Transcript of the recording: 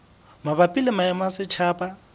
mabapi le maemo a setjhaba